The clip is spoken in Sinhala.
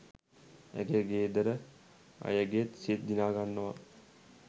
ඇගේ ගෙදර අයගෙත් සිත් දිනාගන්නවා